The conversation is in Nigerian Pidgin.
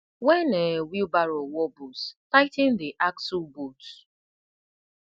when um wheelbarrow wobbles tigh ten dey axle bolts